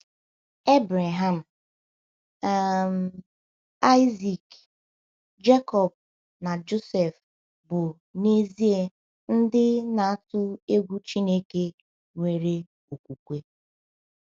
Ebreham, um Aịzik, Jekọb, na Josef bụ n’ezie ndị na - atụ egwu Chineke nwere okwukwe.